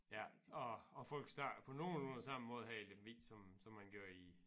Ja og og folk snakker på nogenlunde samme måde her i Lemvig som som man gør i